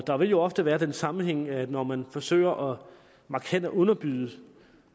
der vil jo ofte være den sammenhæng at når man forsøger markant at underbyde